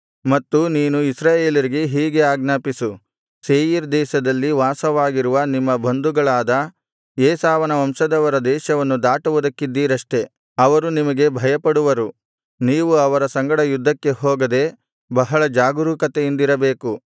ಮತ್ತು ನೀನು ಇಸ್ರಾಯೇಲರಿಗೆ ಹೀಗೆ ಆಜ್ಞಾಪಿಸು ಸೇಯೀರ್ ದೇಶದಲ್ಲಿ ವಾಸವಾಗಿರುವ ನಿಮ್ಮ ಬಂಧುಗಳಾದ ಏಸಾವನ ವಂಶದವರ ದೇಶವನ್ನು ದಾಟುವುದಕ್ಕಿದ್ದೀರಷ್ಟೆ ಅವರು ನಿಮಗೆ ಭಯಪಡುವರು ನೀವು ಅವರ ಸಂಗಡ ಯುದ್ಧಕ್ಕೆ ಹೋಗದೆ ಬಹಳ ಜಾಗರೂಕತೆಯಿಂದಿರಬೇಕು